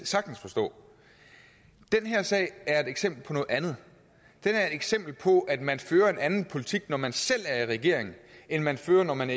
sagtens forstå den her sag er et eksempel på noget andet den er et eksempel på at man fører en anden politik når man selv er i regering end man fører når man